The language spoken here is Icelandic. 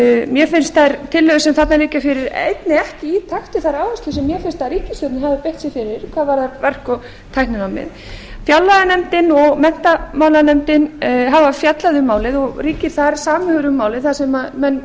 mér finnst þær tillögur sem þarna liggja fyrir einnig ekki í takt við þær áherslur sem mér finnst að ríkisstjórnin hafi beitt sér fyrir hvað varðar verk og tækninámið fjárlaganefndin og menntamálanefnd hafa fjallað um málið og ríkir þar samhugur um málið þar sem menn